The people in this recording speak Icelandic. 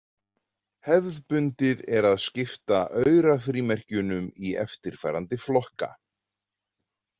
Hefðbundið er að skipta aurafrímerkjunum í eftirfarandi flokka.